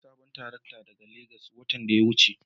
Na sayi sabuwar tarakta daga Legas watan da ya wuce.